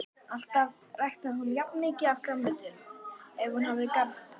Alltaf ræktaði hún mikið grænmeti ef hún hafði garðholu.